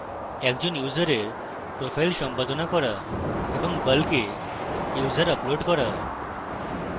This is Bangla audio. একজন ইউসারের profile সম্পাদনা করা